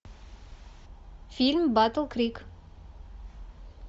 фильм батл крик